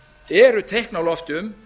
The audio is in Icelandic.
eru teikn á lofti um